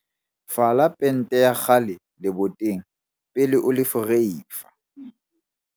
Fala pente ya kgale leboteng pele o le ferefa.